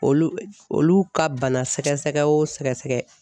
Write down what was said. Olu olu ka bana sɛgɛsɛgɛ o sɛgɛsɛgɛ